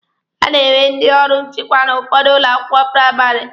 A na-enwe ndị ọrụ nchịkwa n'ụfọdụ ụlọ akwụkwọ praịmarị.